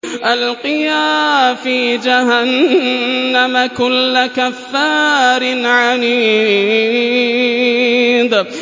أَلْقِيَا فِي جَهَنَّمَ كُلَّ كَفَّارٍ عَنِيدٍ